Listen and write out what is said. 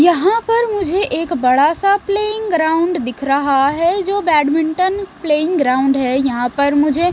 यहां पर मुझे एक बड़ा सा प्लेयिंग ग्राउंड दिख रहा है जो बैडमिंटन प्लेयिंग ग्राउंड है यहां पर मुझे--